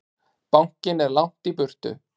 Bankinn er langt í burtu.